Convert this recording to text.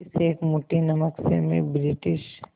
इस एक मुट्ठी नमक से मैं ब्रिटिश